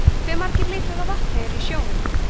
hve margir lítrar af vatni eru í sjónum